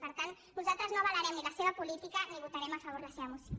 per tant nosaltres no avalarem ni la seva política ni votarem a favor la seva moció